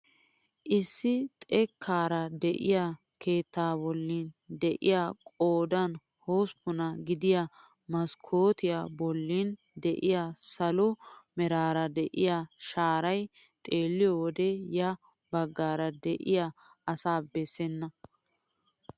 Issi xekkaara de'iyaa keettaa bolli de'iyaa qoodan hosppunaa gidiyaa maskkootiyaa bollan de'iyaa salo meraara de'iyaa sharay xeelliyoo wode ya baggaara de'iyaa asaa bessena!